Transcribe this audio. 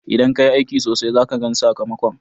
Idan ka yi aiki sosai, za ka gan sakamakon.